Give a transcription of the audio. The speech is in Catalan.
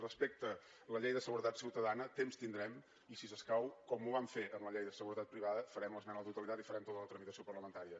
respecte a la llei de seguretat ciutadana temps tindrem i si s’escau com ho vam fer amb la llei de seguretat privada farem una esmena a la totalitat i farem tota la tramitació parlamentària